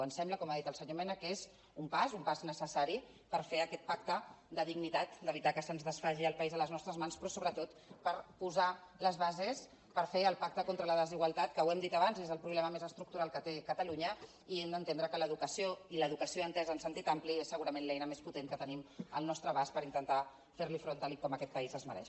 em sembla com ha dit el senyor mena que és un pas un pas necessari per fer aquest pacte de dignitat d’evi·tar que se’ns desfaci el país a les nostres mans però sobretot per posar les bases per fer el pacte contra la desigualtat que ho hem dit abans és el problema més estructural que té catalunya i no entendre que l’edu·cació i l’educació entesa en sentit ampli és segura·ment l’eina més potent que tenim al nostre abast per intentar fer·hi front tal com aquest país es mereix